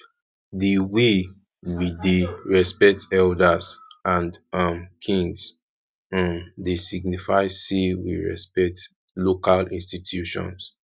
di way we dey respect elders and um kings um dey signify sey we um respect local institutions